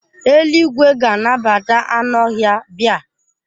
Eluigwe ga-anabata anụ ọhịa bia.